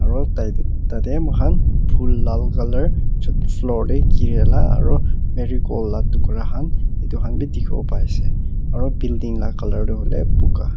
aro tai tate moi khan phool lal color ch floor te gire la aro marigold la tukara khan itu khan bi dikhi wo pai ase aro building laga color toh hoile bugha.